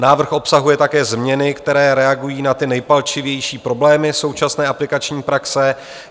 Návrh obsahuje také změny, které reagují na ty nejpalčivější problémy současné aplikační praxe.